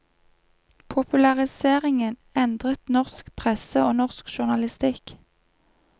Populariseringen endret norsk presse og norsk journalistikk.